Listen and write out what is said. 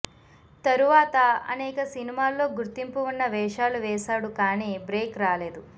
తరువాత అనేక సినిమాల్లో గుర్తింపు వున్న వేషాలు వేసాడు కానీ బ్రేక్ రాలేదు